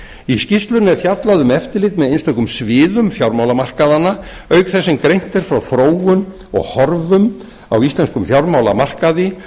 í skýrslunni er fjallað um eftirlit með einstökum sviðum fjármálamarkaðanna auk þess sem greint er frá þróun og horfum íslenskum fjármálamarkaði